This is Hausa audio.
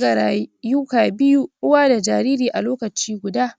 da wayan wayan